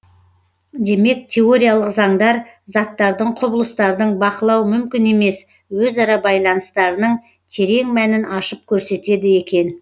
демек теориялық заңдар заттардың құбылыстардың бақылау мүмкін емес өзара байланыстарының терең мәнін ашып көрсетеді екен